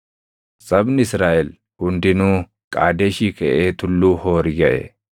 Sabni Israaʼel hundinuu Qaadeshii kaʼee Tulluu Hoori gaʼe.